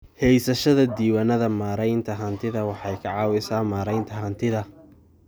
Haysashada diiwaannada maaraynta hantida waxay ka caawisaa maaraynta hantida.